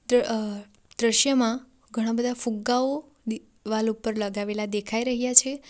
દ્ર અ દ્રશ્યમાં ઘણા બધા ફુગ્ગાઓ દિવાલ ઉપર લગાવેલા દેખાય રહ્યા છે.